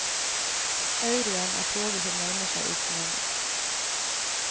Euro'en er toget som nærmer seg i tunnelen.